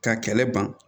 Ka kɛlɛ ban